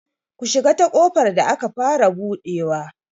Ku shiga ta ƙofar da aka fara buɗewa!